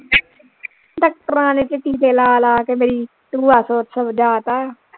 ਡਾਕਟਰਾਂ ਨੇ ਤੇ ਟੀਕੇ ਲਾ ਲਾ ਕੇ ਮੇਰੀ ਟੂਆ ਹੋਰ ਸੁਜਾ ਤਾ